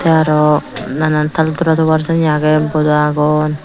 tey aro nanaan taal tora tobar syenney agey boda agon.